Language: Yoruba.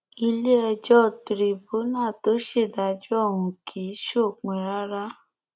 iléẹjọ tìrìbùnà tó ṣèdájọ ọhún kì í ṣòpin rárá